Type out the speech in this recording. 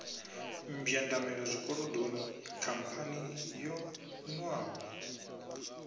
mbwandamela zwikolodoni khamphani yo nwaho